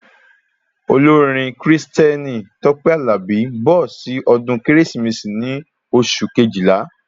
Olórin Kristẹni Tope Alabi nbọ sí ọdún kérésìmesì ní oṣù Kejìlá